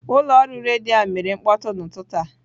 Ụlọ ọrụ redio ahụ mere mkpọtụ n'ụtụtụ a.